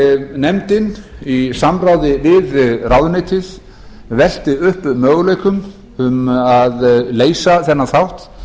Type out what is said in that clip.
nefndin í samráði við ráðuneytið velti upp möguleikum um að leysa þennan þátt